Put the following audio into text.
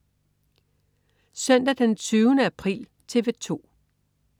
Søndag den 20. april - TV 2: